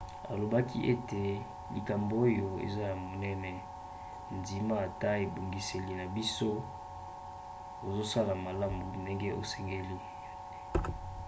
alobaki ete likambo oyo eza ya monene. ndima ete ebongiseli na biso ezosala malamu ndenge esengeli.